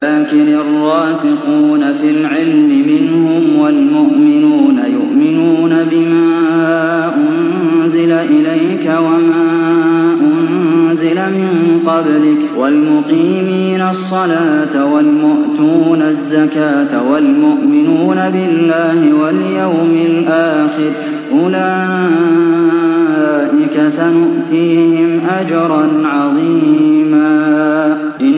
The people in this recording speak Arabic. لَّٰكِنِ الرَّاسِخُونَ فِي الْعِلْمِ مِنْهُمْ وَالْمُؤْمِنُونَ يُؤْمِنُونَ بِمَا أُنزِلَ إِلَيْكَ وَمَا أُنزِلَ مِن قَبْلِكَ ۚ وَالْمُقِيمِينَ الصَّلَاةَ ۚ وَالْمُؤْتُونَ الزَّكَاةَ وَالْمُؤْمِنُونَ بِاللَّهِ وَالْيَوْمِ الْآخِرِ أُولَٰئِكَ سَنُؤْتِيهِمْ أَجْرًا عَظِيمًا